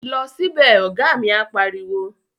Lọ sí bẹ̀! Ọ̀gá mi á pariwo